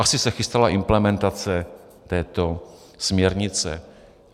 Asi se chystala implementace této směrnice.